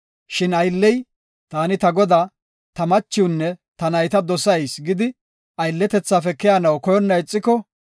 Shin aylley, ‘Taani ta godaa, ta machiwnne ta nayta dosayis’ gidi aylletethaafe keyanaw koyonna ixiko,